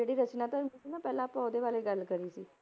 ਜਿਹੜੀ ਰਚਨਾ ਤੁਹਾਨੂੰ ਦੱਸੀ ਨਾ ਪਹਿਲਾਂ ਆਪਾਂ ਉਹਦੇ ਬਾਰੇ ਗੱਲ ਕਰੀ ਸੀ।